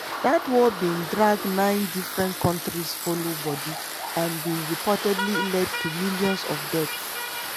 dat war bin drag nine different kontris follow body and bin reportedly led to millions of deaths.